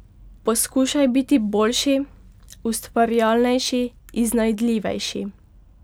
Poskušaj biti boljši, ustvarjalnejši, iznajdljivejši.